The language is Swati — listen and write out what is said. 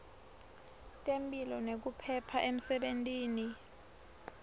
temphilo nekuphepha emsebentini